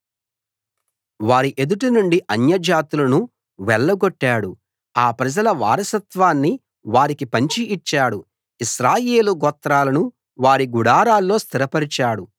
వారి ఎదుట నుండి అన్య జాతులను వెళ్లగొట్టాడు ఆ ప్రజల వారసత్వాన్ని వారికి పంచి ఇచ్చాడు ఇశ్రాయేలు గోత్రాలను వారి గుడారాల్లో స్థిరపరిచాడు